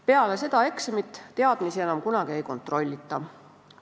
Peale seda eksamit teadmisi enam kunagi ei kontrollita.